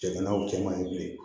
Jiginiw cɛ man ɲi bilen